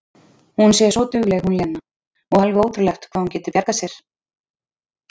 Hún sé svo dugleg hún Lena, og alveg ótrúlegt hvað hún geti bjargað sér!